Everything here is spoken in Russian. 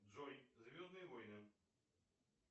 джой звездные войны